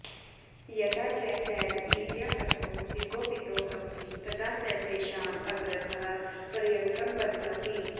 यदा च तैर् ईर्यापथो विकोपितो भवति तदा स तेषां अग्रतः पर्यङ्कं बध्नाति